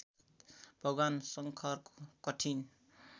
भगवान् शङ्करको कठिन